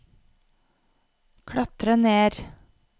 klatre ner